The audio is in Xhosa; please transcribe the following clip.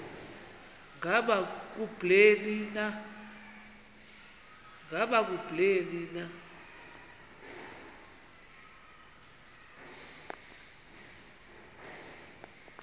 ngaba kubleni na